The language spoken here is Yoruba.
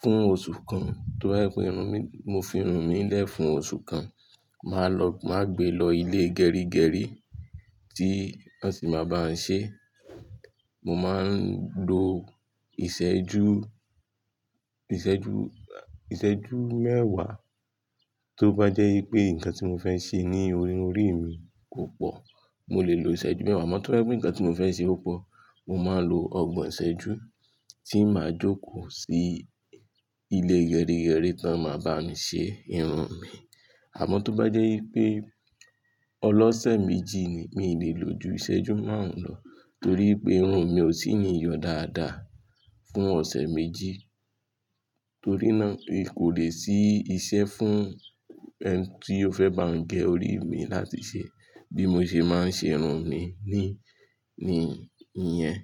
Fún oṣù kan, toba jẹ́ pé irun mi, mo fi irun mí lẹ̀ fún oṣù kan. Máa lọ, máa gbe lọ ilé gerigeri tí wọ́n sì máa bá ọ̀ ṣe. Mo máa ń lo ìṣẹ́jú, ìṣẹ́jú, ìṣẹ́jú mẹ́wàá. Tó bá jẹ́ pé nǹkan tí mo fẹ́ ṣe ní orí mi kò pọ̀, mo lè lo ìṣẹ́jú mẹ́wàá mọ́, torí ẹ́ pé nǹkan tí mo fẹ́ ṣe púpọ̀, mo máa lo ọgbọ̀n ìṣẹ́jú tí màá jókòó sí ilé gerigeri tí wọ́n máa bá mi ṣe irun mi. Àmọ́ tó bá jẹ́ pé ọlọ́ṣẹ̀ méjì ni, mi ò lè lo ju ìṣẹ́jú márùn-ún lọ, torí pé irun mi ò sì ní yọ dáadáa fún ọ̀sẹ̀ méjì. Torí náà kò lè sí iṣẹ́ fún ẹni tí ó fẹ́ bá ọ̀ gẹ orí mi láti ṣe bí mo ṣe máa ń ṣe irun mi ni, ní, níyẹn.